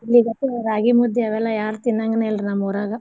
ಇಲ್ಲಿಗತೆ ರಾಗಿ ಮುದ್ದಿ ಅವೆಲ್ಲ ಯಾರ್ ತಿನ್ನಂಗಿನ ಇಲ್ರೀ ನಮ್ ಊರಾಗ.